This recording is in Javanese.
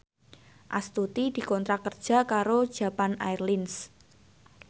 Astuti dikontrak kerja karo Japan Airlines